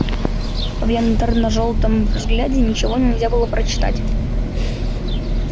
в янтарно-желтом взгляде ничего нельзя было прочитать